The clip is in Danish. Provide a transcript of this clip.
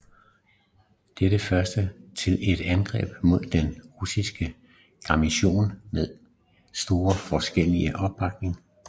Dette første til et angreb mod den russiske garnison med stor folkelig opbakning